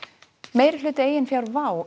meirihluti eigin fjár WOW